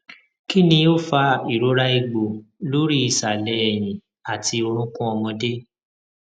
kini o fa irora egbo lori isale eyin ati orukun omode